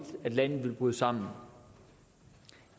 landet ville bryde sammen